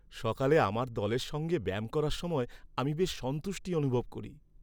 সকালে আমার দলের সঙ্গে ব্যায়াম করার সময় আমি বেশ সন্তুষ্টি অনুভব করি।